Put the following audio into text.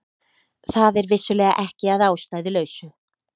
Það er vissulega ekki að ástæðulausu